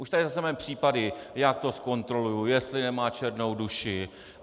Už tady zase máme případy: já to zkontroluju, jestli nemá černou duši.